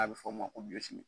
A bɛ fɔ mun ma ko